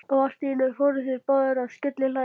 Og allt í einu fóru þeir báðir að skellihlæja.